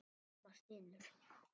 Mamma stynur.